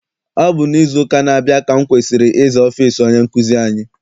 Ọ bụ n'izu ụka na-abia ka m kwesịrị ịza ọfịịsi onye nkụzi anyị.